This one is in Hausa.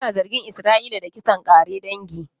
Ana zargin Isra'ila da kisan ƙare dangi